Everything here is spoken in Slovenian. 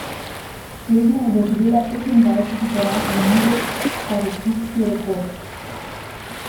Slednja je doživela petindvajseti poraz v nizu, kar je klubski rekord.